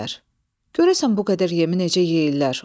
Görəsən bu qədər yemi necə yeyirlər?